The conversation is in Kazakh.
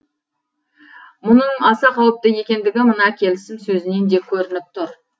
мұның аса қауіпті екендігі мына келісім сөзінен де көрініп тұр